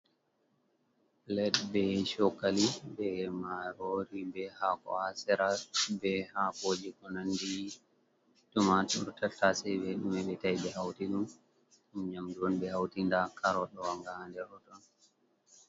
Pilat be shokali, be marori be hako, hasera, be ha koji konandi tumatur tattase mebtai be ɗo me be hauti ɗom, ɗom nyamdu on ɓe hauti nda carot ga ɗow ha ndir tuttun.